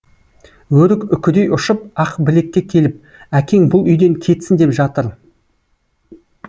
өрік үкідей ұшып ақбілекке келіп әкең бұл үйден кетсін деп жатыр